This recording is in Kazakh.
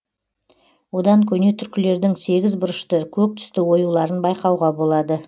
одан көне түркілердің сегіз бұрышты көк түсті оюларын байқауға болады